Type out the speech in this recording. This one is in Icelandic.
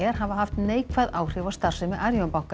hafa haft neikvæð áhrif á starfsemi Arion banka